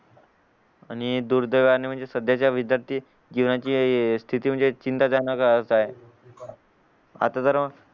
आणि दुर्दैवाने सध्याच्या विद्यार्थी जीवनाची स्थिती म्हणजे चिंताजनकच आहे आता जर